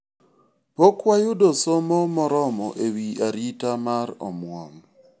pok wayudo somo moromo ewi arita mar omwom